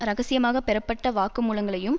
இரகசியமாக பெறப்பட்ட வாக்கு மூலங்களையும்